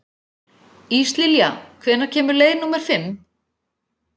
Íslilja, hvenær kemur leið númer fimm?